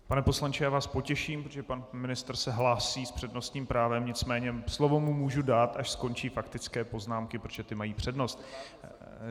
Pane poslanče, já vás potěším, protože pan ministr se hlásí s přednostním právem, nicméně slovo mu můžu dát, až skončí faktické poznámky, protože ty mají přednost.